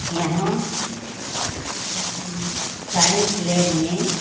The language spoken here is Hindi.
यहां साइंस लैब में--